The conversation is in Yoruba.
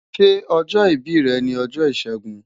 Ṣe ojo ibi rẹ ni ọjọ Ishegun?